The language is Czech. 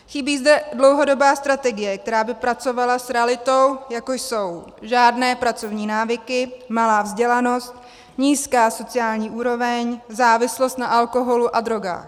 Chybí zde dlouhodobá strategie, která by pracovala s realitou, jako jsou: Žádné pracovní návyky, malá vzdělanost, nízká sociální úroveň, závislost na alkoholu a drogách.